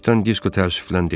Kapitan Disko təəssüflə dedi.